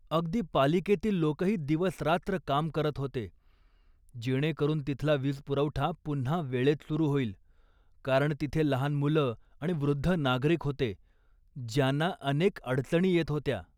अगदी पालिकेतील लोकही दिवस रात्र काम करत होते, जेणेकरून तिथला वीज पुरवठा पुन्हा वेळेत सुरु होईल, कारण तिथे लहान मुलं आणि वृद्ध नागरिक होते, ज्यांना अनेक अडचणी येत होत्या.